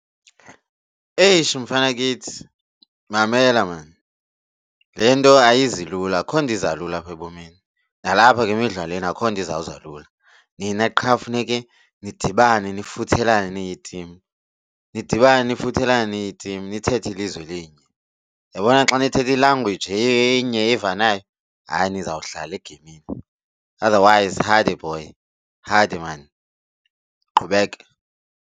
Eish mfanakithi, mamela maan le nto ayizi lula akukho nto iza lula apha ebomini nalapha ke imidlalweni akukho nto izawuza lula, nina qha funeke nidibane nefuthelane niyitimu. Nidibane nefuthelane niyitim nithethe ilizwi elinye. Uyabona xa nithetha i-language enye evanayo hayi nizawuhlala egeyimini. Otherwise hade boy, hade maan, qhubeka.